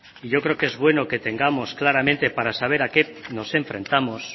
yo creo que es bueno que tengamos claramente para saber a qué nos enfrentamos